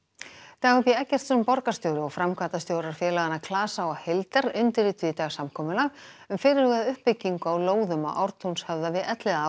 Dagur b Eggertsson borgarstjóri Reykjavíkur og framkvæmdastjórar félaganna klasa og heildar undirrituðu í dag samkomulag um fyrirhugaða uppbyggingu á lóðum á Ártúnshöfða við